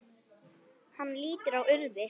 Hann lítur á úrið.